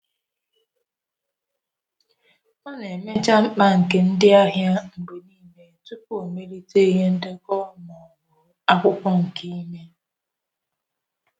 Ọ na-ebu ụzọ mecha arịrịọ ndị ahịa mgbe n'ile tupu ọ na eme ka ndị isi oche mara ma ọ bụ debaya na akwụkwọ.